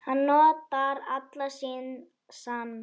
Hann notar allan sinn sann